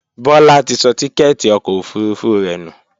Bọ́lá ti sọ tíkẹ́ẹ́tì ọkọ̀ òfurufú rẹ̀ nù